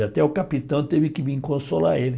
E até o capitão teve que vir consolar ele.